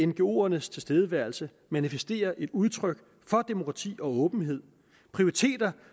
ngoernes tilstedeværelse manifesterer et udtryk for demokrati og åbenhed prioriteter